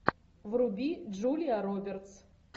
вруби джулия робертс